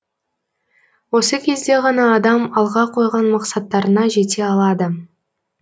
осы кезде ғана адам алға қойған мақсаттарына жете алады